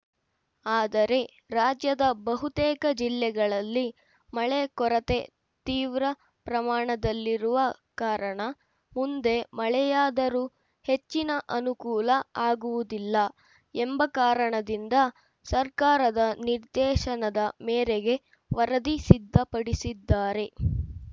ಆದರೆ ರಾಜ್ಯದ ಬಹುತೇಕ ಜಿಲ್ಲೆಗಳಲ್ಲಿ ಮಳೆ ಕೊರತೆ ತೀವ್ರ ಪ್ರಮಾಣದಲ್ಲಿರುವ ಕಾರಣ ಮುಂದೆ ಮಳೆಯಾದರೂ ಹೆಚ್ಚಿನ ಅನುಕೂಲ ಆಗುವುದಿಲ್ಲ ಎಂಬ ಕಾರಣದಿಂದ ಸರ್ಕಾರದ ನಿರ್ದೇಶನದ ಮೇರೆಗೆ ವರದಿ ಸಿದ್ಧಪಡಿಸಿದ್ದಾರೆ